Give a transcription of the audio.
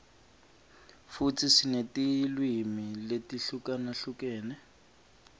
futsi sinetilwimi letihlukahlukene